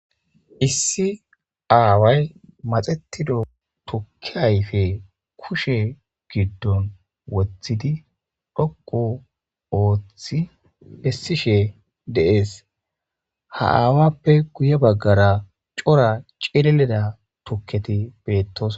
issi aaway maxetido tukki ayfe kushe giddon wothidi dhoqu ooththi essishe dees ha aawappe guye baggara cora cileleda tukketi beettos